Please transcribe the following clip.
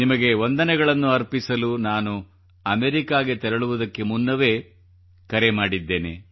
ನಿಮಗೆ ವಂದನೆಗಳನ್ನು ಅರ್ಪಿಸಲು ನಾನು ಅಮೆರಿಕಾಗೆ ತೆರಳುವುದಕ್ಕೆ ಮುನ್ನವೇ ಕರೆ ಮಾಡಿದ್ದೇನೆ